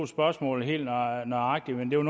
vil